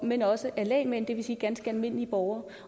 men også af lægmænd det vil sige ganske almindelige borgere